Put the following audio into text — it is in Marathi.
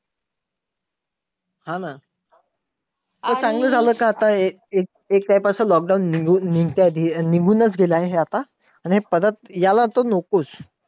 हा ना! ते चांगलं झालं का आता हे एक time असं lockdown निघून निघतंय निघून चं गेलं आहे हे आता. हे परत यायला तर नकोच.